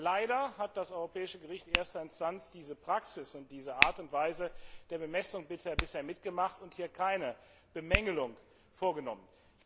Leider hat das Europäische Gericht erster Instanz diese Praxis und diese Art und Weise der Bemessung bisher mitgemacht und hier keine Bemängelung vorgenommen.